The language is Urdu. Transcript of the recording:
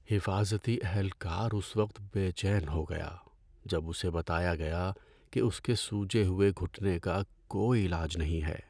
حفاظتی اہلکار اس وقت بے چین ہو گیا جب اسے بتایا گیا کہ اس کے سوجے ہوئے گھٹنے کا کوئی علاج نہیں ہے۔